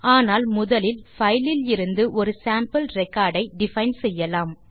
ஆனால் முதலில் பைல் இலிருந்து ஒரு சேம்பிள் ரெக்கார்ட் ஐ டிஃபைன் செய்யலாம்